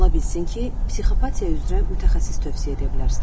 Ola bilsin ki, psixopatiya üzrə mütəxəssis tövsiyə edə bilərsiniz.